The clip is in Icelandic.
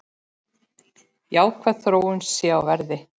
Jákvæð þróun sé á verði.